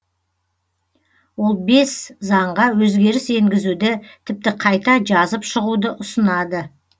ол бес заңға өзгеріс енгізуді тіпті қайта жазып шығуды ұсынады